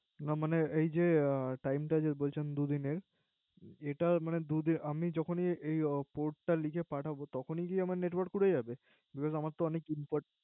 না মানে এই যে Tmie যে বলছেন দুই দিনের এটা মানে আমি যখন Code টা লিখে পাঠাবো তখনই আমার Network পড়ে যাবে? Beacuse আমার তো অনেক Important